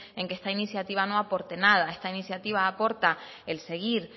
en que esta iniciativa no aporte nada esta iniciativa aporta el seguir